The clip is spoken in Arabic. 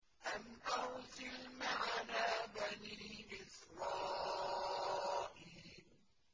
أَنْ أَرْسِلْ مَعَنَا بَنِي إِسْرَائِيلَ